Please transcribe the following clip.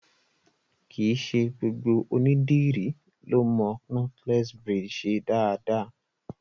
Kìí ṣe gbogbo ònídìrí lọ mo knotless braids ṣe dáadáa.